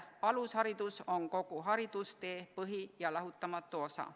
Alusharidus on kogu haridustee põhi ja lahutamatu osa.